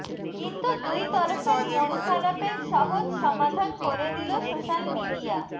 কিন্তু দুই তরফের মনখারাপের সহজ সমাধান করে দিল সোশ্যাল মিডিয়া